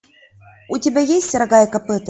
у тебя есть рога и копыта